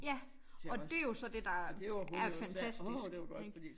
Ja og dét jo så det der er fantastisk ikke?